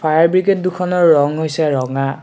Fire brigade দুখনৰ ৰং হৈছে ৰঙা।